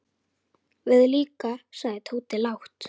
Við líka sagði Tóti lágt.